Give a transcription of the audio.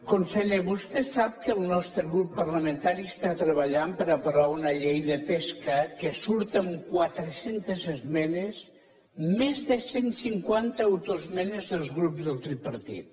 conseller vostè sap que el nostre grup parlamentari està treballant per aprovar una llei de pesca que surt amb quatre centes esmenes més de cent cinquanta autoesmenes dels grups del tripartit